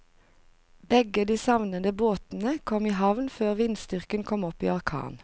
Begge de savnede båtene kom i havn før vindstyrken kom opp i orkan.